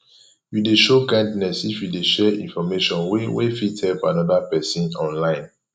you de show kindness if you de share information wey wey fit help another persin online